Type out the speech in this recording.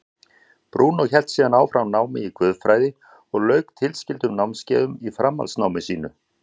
Brúnó hélt síðan áfram námi í guðfræði og lauk tilskildum námskeiðum í framhaldsnámi sínu.